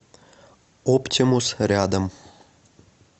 оптимус рядом